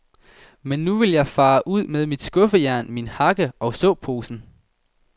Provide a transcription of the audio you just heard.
Men nu vil jeg fare ud med mit skuffejern, min hakke og såposen.